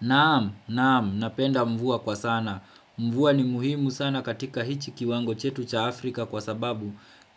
Naam, naam, napenda mvua kwa sana. Mvua ni muhimu sana katika hichi kiwango chetu cha Afrika kwa sababu